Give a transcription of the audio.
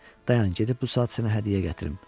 Dayan, gedib bu saat sənə hədiyyə gətirim.